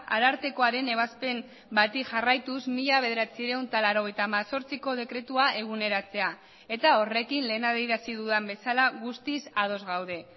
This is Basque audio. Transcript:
arartekoaren ebazpen bati jarraituz mila bederatziehun eta laurogeita hemezortziko dekretua eguneratzea eta horrekin lehen adierazi dudan bezala guztiz ados gaude